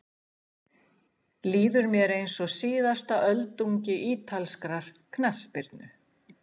Líður mér eins og síðasta öldungi ítalskrar knattspyrnu?